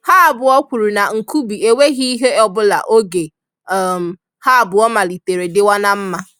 ha abụọ kwuru na Nkubi enweghị ihe ọ bụla oge um ha abụọ malitere dịwa na mma.